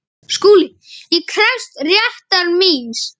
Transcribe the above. SKÚLI: Ég krefst réttar míns.